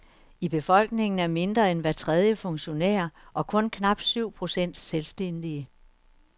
I befolkningen er mindre end hver tredje funktionær og kun knap syv procent selvstændige.